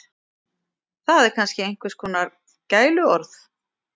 Það er kannski einhvers kona gæluorð.